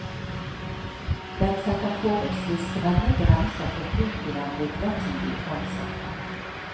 Den setter forholdsvis strenge grenser for bruken av midlertidig ansatte.